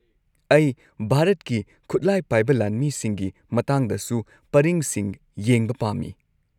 ꯑꯩ ꯚꯥꯔꯠꯀꯤ ꯈꯨꯠꯂꯥꯏ ꯄꯥꯏꯕ ꯂꯥꯟꯃꯤꯁꯤꯡꯒꯤ ꯃꯇꯥꯡꯗꯁꯨ ꯄꯔꯤꯡꯁꯤꯡ ꯌꯦꯡꯕ ꯄꯥꯝꯃꯤ꯫